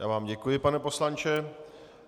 Já vám děkuji, pane poslanče.